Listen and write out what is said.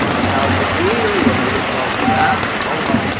дал другую я переслал туда пока он молчит